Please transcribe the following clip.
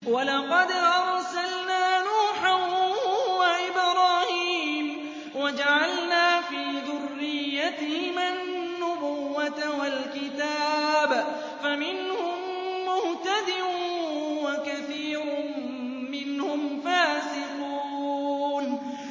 وَلَقَدْ أَرْسَلْنَا نُوحًا وَإِبْرَاهِيمَ وَجَعَلْنَا فِي ذُرِّيَّتِهِمَا النُّبُوَّةَ وَالْكِتَابَ ۖ فَمِنْهُم مُّهْتَدٍ ۖ وَكَثِيرٌ مِّنْهُمْ فَاسِقُونَ